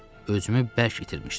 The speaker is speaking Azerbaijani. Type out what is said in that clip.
Özümü bərk itirmişdim.